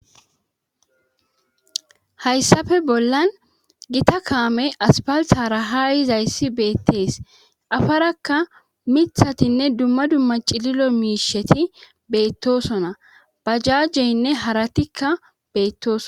hayssafe bollan gita kaame aspalhara ha izayssi beettees afarakka mithatinne dumma dumma cililo miisheti beettosona bajajjeynne haratikka beettoso